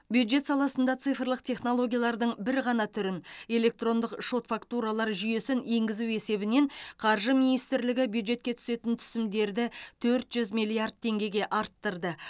бюджет саласында цифрлық технологиялардың бір ғана түрін электрондық шот фактуралар жүйесін енгізу есебінен қаржы министрлігі бюджетке түсетін түсімдерді төрт жүз миллиард теңгеге арттырды